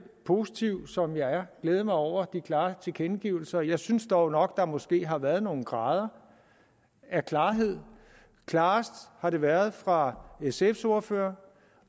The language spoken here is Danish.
positiv som jeg er glæde mig over de klare tilkendegivelser jeg synes dog nok der måske har været nogle grader af klarhed klarest har det været fra sfs ordfører